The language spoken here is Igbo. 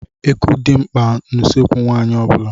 Eku dị mkpa n'ụsọekwu nwaanyị ọ bula.